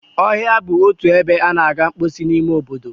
Ọhịa bụ otu ebe a na-aga mposi n'ime obodo.